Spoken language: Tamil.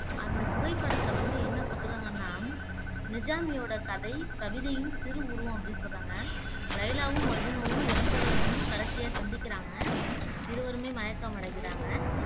அந்த புகைப்படத்துல வந்து என்ன குடுத்துருக்காங்கன்னா நிஜாமியோட கதை கவிதையின் சிறு உருவம் அப்படி சொல்றாங்க லைலாவும் மஜ்னுவும் இறப்பதற்கு முன் கடைசியா சந்திக்கிறாங்க இருவருமே மயக்கமடைகிறாங்க